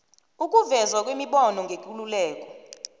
sokuvezwa kwemibono ngekululeko